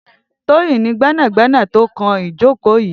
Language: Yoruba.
Toyin ni gbẹnágbẹná tó kán ijókó yi